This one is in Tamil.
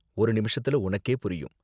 ஒரு நிமிஷத்துல உனக்கே புரியும்.